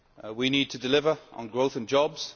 We need to deliver on growth and jobs